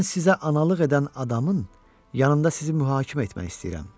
Mən sizə analıq edən adamın yanında sizi mühakimə etmək istəyirəm.